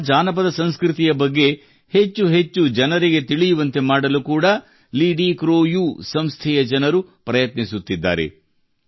ನಾಗಾ ಜಾನಪದ ಸಂಸ್ಕೃತಿಯ ಬಗ್ಗೆ ಹೆಚ್ಚು ಹೆಚ್ಚು ಜನರಿಗೆ ತಿಳಿಯುವಂತೆ ಮಾಡಲು ಕೂಡಾ ಲಿಡಿಕ್ರೋಯೂ ಸಂಸ್ಥೆಯ ಜನರು ಪ್ರಯತ್ನಿಸುತ್ತಿದ್ದಾರೆ